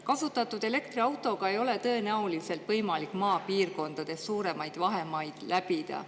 Kasutatud elektriautoga ei ole tõenäoliselt võimalik maapiirkondades suuremaid vahemaid läbida.